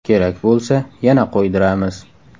Kerak bo‘lsa yana qo‘ydiramiz.